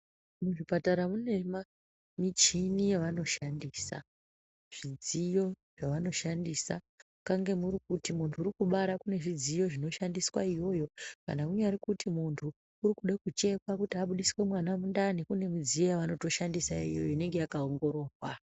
Muzvipatara munemichini yavanoshandisa, zvidziyo zvavanoshandisa, kange muri kuti muntu uri kubarwa, kune zvidziyo zvinoshandiswa iyoyo, kana kunyari kuti muntu, uri kuda kuchekwa kuti abudiswe mwana mundani, kune midziyo yavanotoshandisa iyoyo inenge yakaongororwa.